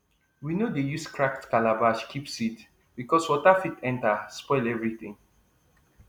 we no dey use cracked calabash keep seed because water fit enter spoil everything